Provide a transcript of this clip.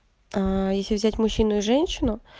аа если взять мужчину и женщину